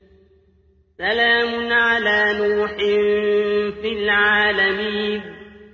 سَلَامٌ عَلَىٰ نُوحٍ فِي الْعَالَمِينَ